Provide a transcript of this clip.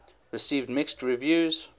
received mixed reviews